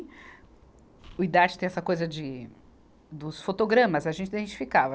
O Idarte tem essa coisa de, dos fotogramas, a gente identificava.